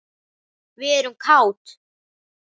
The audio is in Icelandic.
Við erum kát.